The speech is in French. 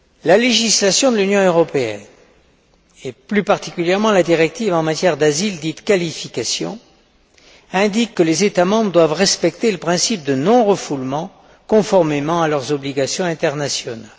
La législation de l'Union européenne, et plus particulièrement la directive en matière d'asile dite qualification, indique que les États membres doivent respecter le principe de non refoulement, conformément à leurs obligations internationales.